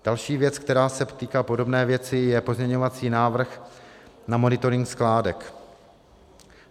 Další věc, která se týká podobné věci, je pozměňovací návrh na monitoring skládek.